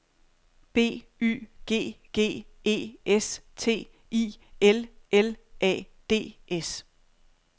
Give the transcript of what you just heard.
B Y G G E S T I L L A D S